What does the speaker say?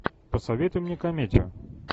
посоветуй мне комедию